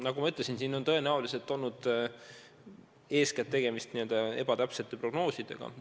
Nagu ma ütlesin, tõenäoliselt on eeskätt olnud tegemist ebatäpsete prognoosidega.